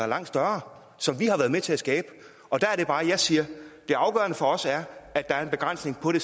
langt større som vi har været med til at skabe og der er det bare jeg siger at det afgørende for os er at der er en begrænsning på det